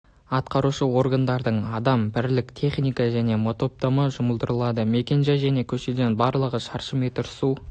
атқарушы органдардың адам бірлік техника және мотопомпа жұмылдырылды мекенжай және көшеден барлығы шаршы метр су